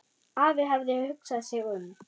Afi hafði hugsað sig um.